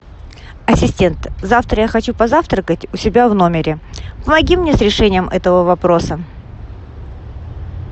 ассистент завтра я хочу позавтракать у себя в номере помоги мне с решением этого вопроса